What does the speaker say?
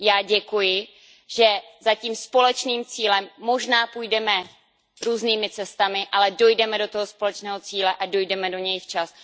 Já děkuji, že za tím společným cílem možná půjdeme různými cestami, ale dojdeme do toho společného cíle a dojdeme do něj včas.